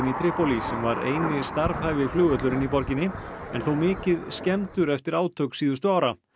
í Trípólí sem var eini flugvöllurinn í borginni en þó mikið skemmdur eftir átök síðustu ára